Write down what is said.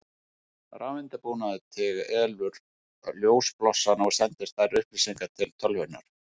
Rafeindabúnaður telur ljósblossana og sendir þær upplýsingar til tölvunnar.